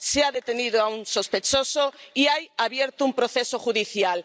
Se ha detenido a un sospechoso y hay abierto un proceso judicial.